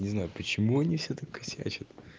не знаю почему они все таки косячат